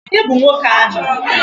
Ònye bụ nwoke ahụ?